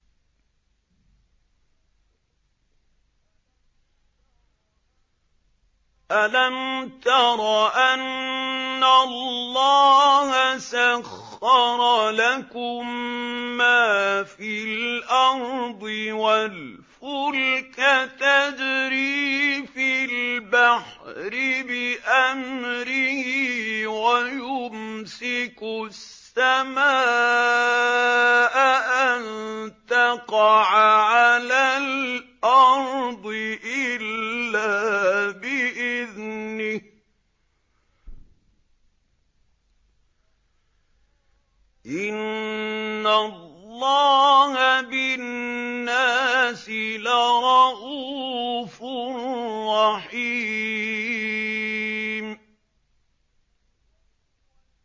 أَلَمْ تَرَ أَنَّ اللَّهَ سَخَّرَ لَكُم مَّا فِي الْأَرْضِ وَالْفُلْكَ تَجْرِي فِي الْبَحْرِ بِأَمْرِهِ وَيُمْسِكُ السَّمَاءَ أَن تَقَعَ عَلَى الْأَرْضِ إِلَّا بِإِذْنِهِ ۗ إِنَّ اللَّهَ بِالنَّاسِ لَرَءُوفٌ رَّحِيمٌ